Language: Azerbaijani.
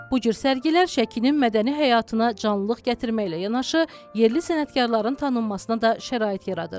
Bu cür sərgilər Şəkinin mədəni həyatına canlılıq gətirməklə yanaşı, yerli sənətkarların tanınmasına da şərait yaradır.